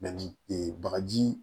ee bagaji